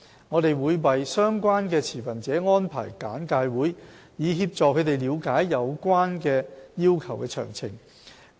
我們會為相關持份者安排簡介會，以協助他們了解有關要求的詳情。